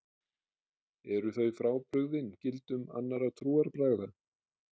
Eru þau frábrugðin gildum annarra trúarbragða?